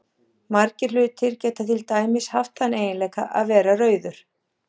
Margir hlutir geta til dæmis haft þann eiginleika að vera rauður.